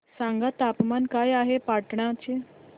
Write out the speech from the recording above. सांगा तापमान काय आहे पाटणा चे